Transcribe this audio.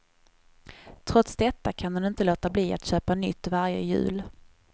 Trots detta kan hon inte låta bli att köpa nytt varje jul.